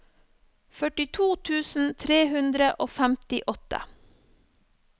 førtito tusen tre hundre og femtiåtte